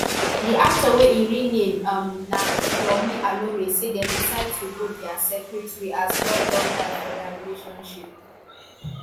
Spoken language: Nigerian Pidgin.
di actor wey im real name um na yomi alore say dem decide to go dia separate way as love don die for dia relationship um